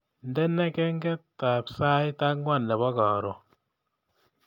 Indene kengetab sait angwan nebo karon